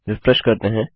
refresh करते हैं